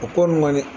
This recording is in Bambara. A ko nin kɔni